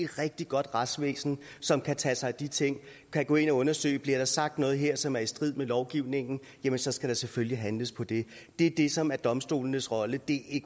rigtig godt retsvæsen som kan tage sig af de ting kan gå ind og undersøge det og bliver der sagt noget her som er i strid med lovgivningen så skal der selvfølgelig handles på det det er det som er domstolenes rolle det